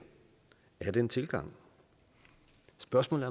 er den tilgang spørgsmålet